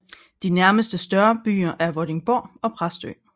De nærmeste større byer er Vordingborg og Præstø